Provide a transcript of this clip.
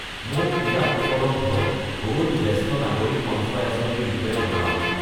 মোক ইয়াত উপলব্ধ গ'ল্ড জ্যেষ্ঠ নাগৰিক সঞ্চয় আঁচনি ৰ বিষয়ে জনাওক!